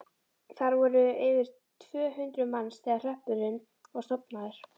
Þar voru yfir tvö hundruð manns þegar hreppurinn var stofnaður.